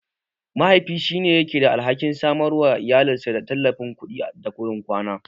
Mahaifi shi yake da alhakin samarwa da iyalinsa tallafin kuɗi da gurin kwana.